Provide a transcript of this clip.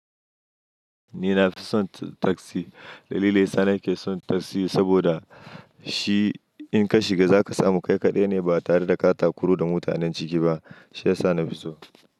Ni nafi son tasi. Dalili sana ke son tasi, saboda shi in ka shiga za ka samu kai kaɗai ne ba tare da katakuru da mutanen ciki ba. Shi ya sa nafi so.